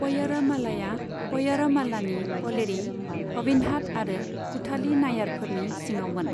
पय्य'रमालाया पय्य'रमालानि पलेरी, अविन्हाट आरो कुथाली नायारफोरनि सिङावमोन।